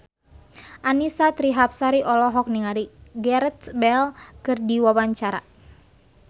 Annisa Trihapsari olohok ningali Gareth Bale keur diwawancara